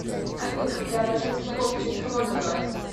афина преображенский полк в честь кого назвали